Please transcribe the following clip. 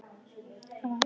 Af ást.